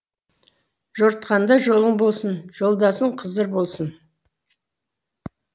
жортқанда жолың болсын жолдасың қызыр болсын